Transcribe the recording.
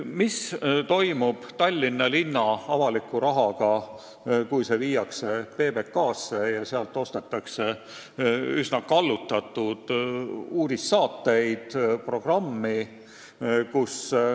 Mis toimub Tallinna linna avaliku rahaga, kui see viiakse PBK-sse ja ostetakse sealt üsna kallutatud programmi, sh uudistesaateid?